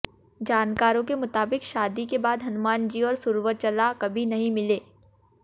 जानकारों के मुताबिक शादी के बाद हनुमान जी और सुर्वचला कभी नहीं मिले